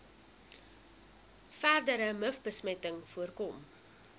verdere mivbesmetting voorkom